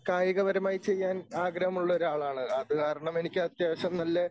കായികപരമായി ചെയ്യാൻ ആഗ്രഹമുള്ള ഒരാളാണ്. അതുകാരണം എനിക്ക് അത്യാവശ്യം നല്ല